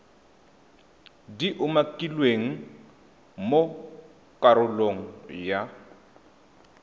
di umakilweng mo karolong ya